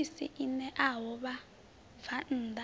tshiofisi i ṋeaho vhabvann ḓa